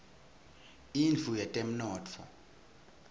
indlu yetemnotfo